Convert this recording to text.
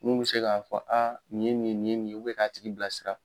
Nun be se ka fɔ a nin ye nin ,nin ye nin ye ka tigi bila sira.